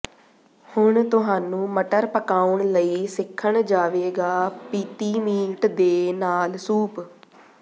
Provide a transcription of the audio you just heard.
ਹੁਣ ਤੁਹਾਨੂੰ ਮਟਰ ਪਕਾਉਣ ਲਈ ਸਿੱਖਣ ਜਾਵੇਗਾ ਪੀਤੀ ਮੀਟ ਦੇ ਨਾਲ ਸੂਪ